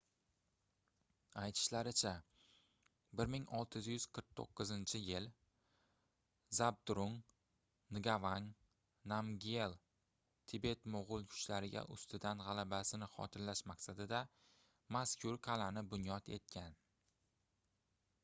aytishlaricha 1649-yili zabdrung ngavang namgyel tibet-moʻgʻul kuchlariga ustidan gʻalabasini xotirlash maqsadida mazkur qalʼani bunyod etgan